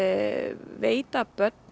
veita börnum